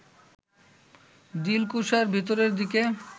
দিলকুশার ভেতরের দিকে